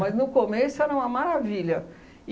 Mas, no começo, era uma maravilha.